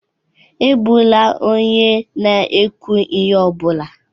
Egbula onye na-ekwu ihe ọ bụla